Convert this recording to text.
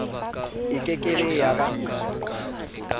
e ke ke be ya